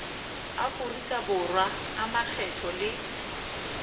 aforika borwa a makgetho le